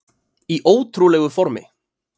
Í ótrúlegu formi